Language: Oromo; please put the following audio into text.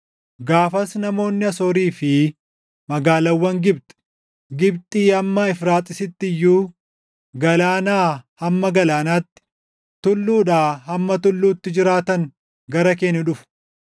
Gaafas namoonni Asoorii fi magaalaawwan Gibxi, Gibxii hamma Efraaxiisitti iyyuu, galaanaa hamma galaanaatti, tulluudhaa hamma tulluutti jiraatan gara kee ni dhufu.